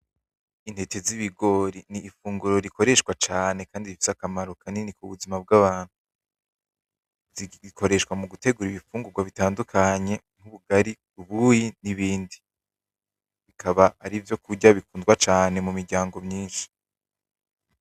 Intete z’ibigori n’ifunguro rikoreshwa cane kandi rifise akamaro kanini mubuzima bwa bantu .Ikoreshwa mugutengura ifungurwa zitandukanye kubu ubugari, ubuyi, n’ibindi. Akaba ari ivyo kurya bikunda cane mu muryango myinshi.